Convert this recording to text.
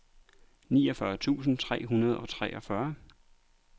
niogfyrre tusind tre hundrede og treogfyrre